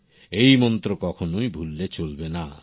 এই মন্ত্র কখোনোই ভুললে চলবেনা